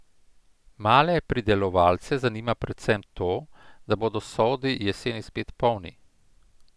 Male pridelovalce zanima predvsem to, da bodo sodi jeseni spet polni.